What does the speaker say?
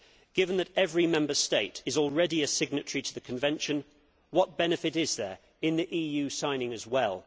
Given that every Member State is already a signatory to the Convention, what benefit is there in the EU signing as well?